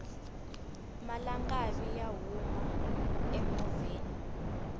malangavi ya huma emovheni